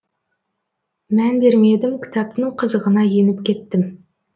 мән бермедім кітаптың қызығына еніп кеттім